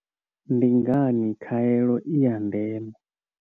Ndi ngani khaelo i ya ndeme?